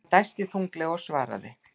Hann dæsti þunglega og svaraði.